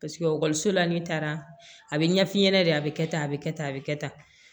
ekɔliso la n'i taara a bɛ ɲɛf'i ɲɛna de a bɛ kɛ tan a bɛ kɛ tan a bɛ kɛ tan